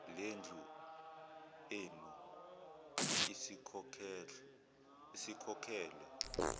lendlu eyenu isikhokhelwe